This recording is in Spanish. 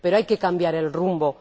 Pero hay que cambiar el rumbo.